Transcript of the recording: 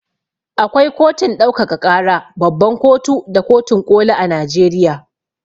Akwai kotun ɗaukaka ƙara, babban kotu da kotun ƙoli a Najeriya.